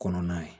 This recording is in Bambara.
Kɔnɔna ye